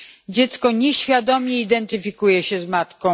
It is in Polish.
dziecko nieświadome identyfikuje się z matką.